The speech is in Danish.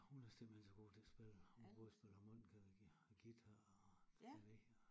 Hun er simpelthen så god til at spille hun kan både spille harmonika og guitar og klaver